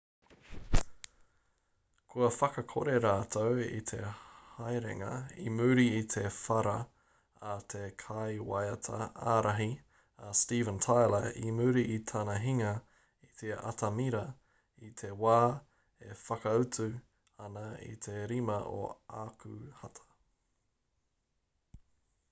kua whakakore rātou i te haerenga i muri i te whara a te kaiwaiata ārahi a steven tyler i muri i tana hinga i te atamira i te wā e whakaatu ana i te 5 o ākuhata